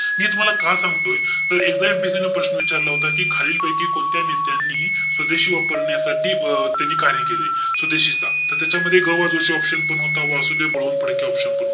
मी तुम्हाला का सांगतोय? त एकदा MPSC ने प्रश्न विचारला होता. कि खालील पैकी कोणत्या नेत्यांनी स्वदेशी वापरण्यासाठी अं त्यांनी कार्य केले? स्वदेशीचा. त त्याच्यामध्ये ग बा जोशी option पण होता. वासुदेव बळवंत फडके option पण होता.